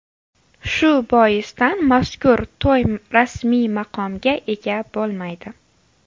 Shu boisdan mazkur to‘y rasmiy maqomga ega bo‘lmaydi.